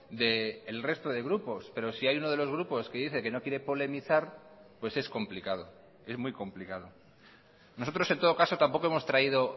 del resto de grupos pero si hay uno de los grupos que dice que no quiere polemizar pues es complicado es muy complicado nosotros en todo caso tampoco hemos traído